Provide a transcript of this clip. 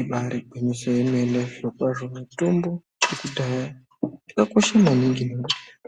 Ibari gwinyiso yemene zviro kwazvo mitombo yekudhaya yakakosha maningi